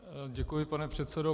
Děkuji, pane předsedo.